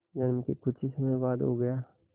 जन्म के कुछ ही समय बाद हो गया